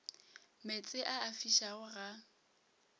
meetse a a fišago ga